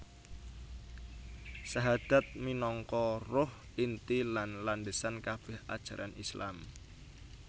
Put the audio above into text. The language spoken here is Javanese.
Sahadat minangka ruh inti lan landhesan kabèh ajaran Islam